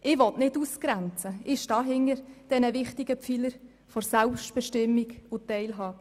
Ich will nicht ausgrenzen, ich stehe hinter diesen wichtigen Bereichen der Selbstbestimmung und Teilhabe.